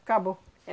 Acabou.